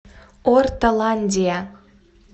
ортоландия